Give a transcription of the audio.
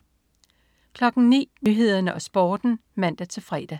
09.00 Nyhederne og Sporten (man-fre)